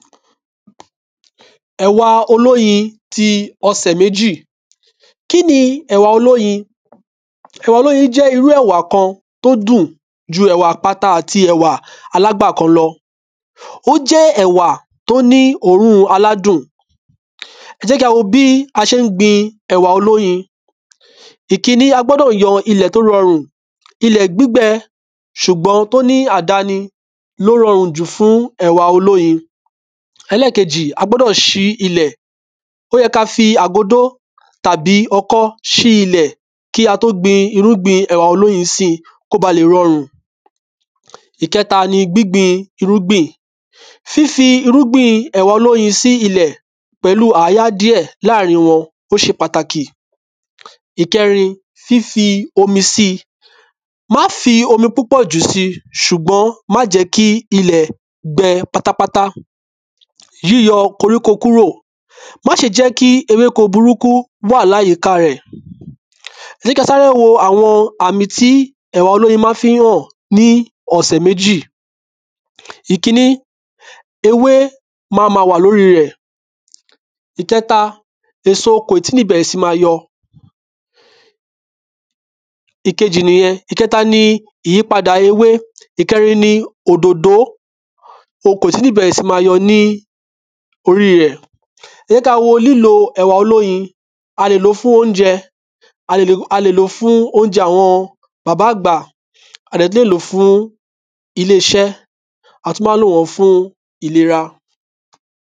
Ẹ̀wa olóyin ti ọsẹ̀ méjì Kí ni ẹ̀wà olóyin Ẹ̀wa olóyin jẹ́ irú ẹ̀wà kan t’ó dùn ju ẹ̀wà àpáta àti ẹ̀wà alágbàkọ lọ. Ó jẹ́ ẹ̀wà t’ó ní òórùn aládùn Ẹ jẹ̀ kí a wo bí a ṣé ń gbin ẹ̀wà olóyin. Ìkiní, a gbọ́dọ̀ yan ilẹ̀ t’ó rọrùn. Ilẹ̀ gbígbẹ ṣùgbọ́n t’ó ní àdani l’ó rọrùn jù fún ẹ̀wà olóyin. Elẹ́kejì, a gbọ́dọ̀ ṣí ilẹ̀. Ó yẹ k’a fi àgódó tàbí ọkọ́ ṣí ilẹ̀ kí a tó gbin irúgbìn ẹ̀wà olóyin si k’ó balẹ̀ rọrùn. Ìkẹta ni gbígbìn irúgbìn. Fífi irúgbìn ẹ̀wà olóyin sí ilẹ̀ pẹ̀lú àáyá díẹ̀ láàrin wọn ó ṣe pàtàkì. Ìkẹrin, fífi omi síi. Má fi omi púpọ̀ jù si ṣùgbọ́n má jẹ́ kí ilẹ̀ gbe pátápátá. Yíyọ koriko kúrò. Má ṣe jẹ́ kí ewéko burúkú wà láyíká rẹ̀. Jẹ́ k’a sáré wo àwọn àmì tí ẹ̀wà olóyin má fí ń hàn ní ọ̀sẹ̀ méjì. Ìkiní, ewé ma ma wà lórí rẹ̀. Ìkẹta, èso kò ì tí ní bẹ̀rẹ̀ sí ma yọ. Ìkejì nìyẹn. Ìkẹta ni ìyípadà ewé. Ìkẹrin ni òdòdó. O kò ì tí ní bẹ̀rẹ̀ sí ma yọ ní orí rẹ̀. Ẹ jẹ̀ kí a wo lílo ẹ̀wà olóyin. A lè lòó fún óunjẹ. A lè lòó fún óunjẹ àwọn bàbá àgbà. A dẹ̀ tú lè lòó fún ilé ‘ṣẹ́ A má tú má ń lò wọ́n fún ìlera.